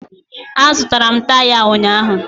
Azụtara m taya a ụnyaahụ